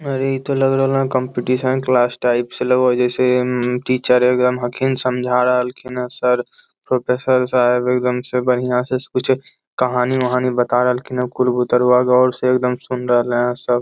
अरे इ ते लग रहले कंपटीशन क्लास टाइप्स से लग रहले टीचर एकदम हखिन समझा रहलखिन्ह सर प्रोफेसर साहब एकदम से बढ़िया से कुछो कहानी उहानी बता रहलखिन्ह सुन रहले हेय सब ।